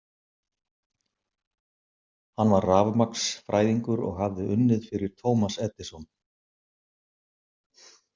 Hann var rafmagnsfræðingur og hafði unnið fyrir Thomas Edison.